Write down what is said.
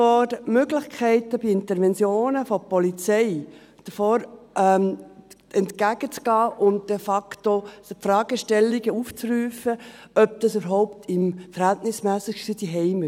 Die Möglichkeiten, bei Interventionen der Polizei entgegenzugehen und de facto die Fragestellung aufzurufen, ob dies überhaupt verhältnismässig ist, haben wir.